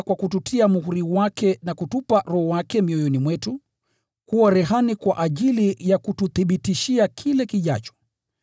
kwa kututia muhuri wake na kutupa Roho wake mioyoni mwetu kuwa rehani kwa ajili ya kututhibitishia kile kijacho.